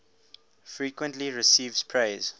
frequently receives praise